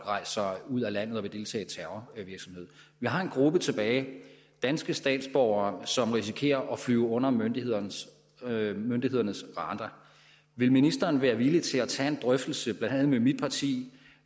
rejser ud af landet for at deltage i terrorvirksomhed vi har en gruppe tilbage af danske statsborgere som risikerer at flyve under myndighedernes myndighedernes radar vil ministeren være villig til at tage en drøftelse blandt andet med mit parti